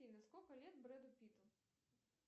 афина сколько лет бреду питту